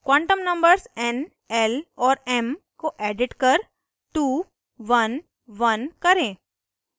quantum numbers n l और m को edit कर 2 1 1 करें